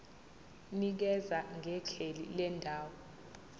nikeza ngekheli lendawo